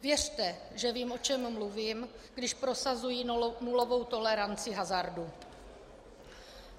Věřte, že vím, o čem mluvím, když prosazuji nulovou toleranci hazardu.